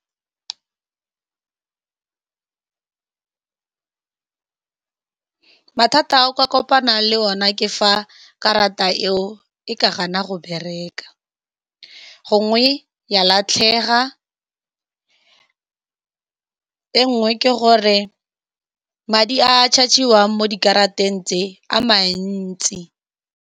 Mathata ao ka kopanang le one ke fa karata eo e ka gana go bereka, gongwe ya latlhega. E nngwe ke gore madi a charge-iwang mo dikarataeng tse a mantsi.